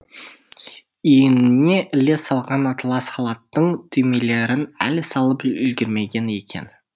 иініне іле салған атылас халаттың түймелерін әлі салып үлгермеген екен